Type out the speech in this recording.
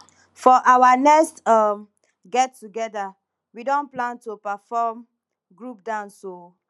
for our next um get together we don plan to perform group dance o